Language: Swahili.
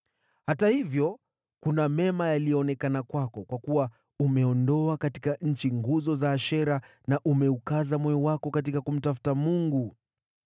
Hata hivyo, kuna mema yaliyoonekana kwako, kwa kuwa umeondoa katika nchi nguzo za Ashera na umeukaza moyo wako katika kumtafuta Mungu.”